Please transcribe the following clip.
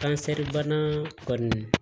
Kansɛribana kɔni